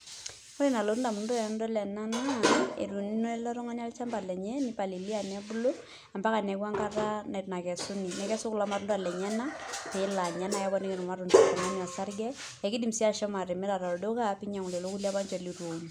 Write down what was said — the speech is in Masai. Ore enalotu ndamunot ainei tanadol ena na etuuno eletungani olchamba lenye nipalilianebulu ambaka neaku enkata nakesuni nekesu kulo natunda lenyenak pelo anya na kemoki irmatunda oltungani osarge ,akedim Nye nai ashomo atimira tolduka torkulie apa ninche litueun.